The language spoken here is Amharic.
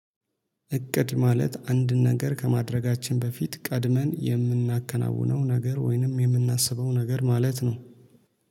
እቅድ ማለት አንድ ነገር ከማድረጋችን በፊት ቀድመን የምናከናውነው ነገር ወይንም የምናስበው ነገር ማለት ነው